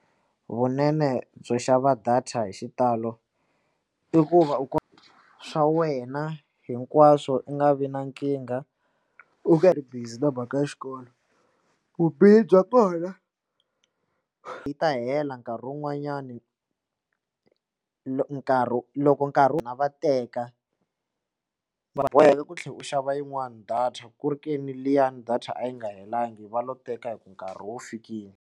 Vunene byo xava data hi xitalo i ku va u ku swa wena hinkwaswo u nga vi na nkingha u ka ri busy na mhaka xikolo vubihi bya twala yi ta hela nkarhi wun'wanyani nkarhi loko nkarhi wu na va teka va boheka ku tlhela u xava yin'wani data ku ri ka ni liyani data a yi nga helelangiki va lo teka hi ku nkarhi wo fikile.